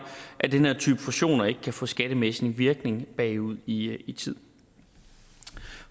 at den her type fusioner ikke kan få skattemæssig virkning bagud i i tid